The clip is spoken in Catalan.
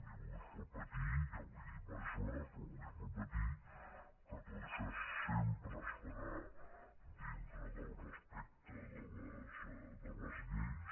i vull repetir ja ho he dit diverses vegades però ho vull repetir que tot això sempre es farà dintre del respecte de les lleis